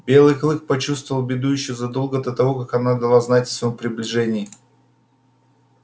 белый клык почувствовал беду ещё задолго до того как она дала знать о своём приближении